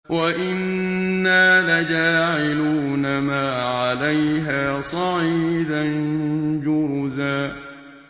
وَإِنَّا لَجَاعِلُونَ مَا عَلَيْهَا صَعِيدًا جُرُزًا